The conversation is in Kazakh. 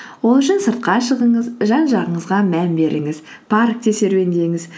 ол үшін сыртқа шығыңыз жан жағыңызға мән беріңіз паркте серуендеңіз